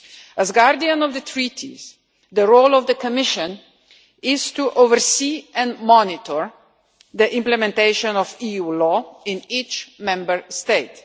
As guardian of the Treaties, the role of the Commission is to oversee and monitor the implementation of EU law in each Member State.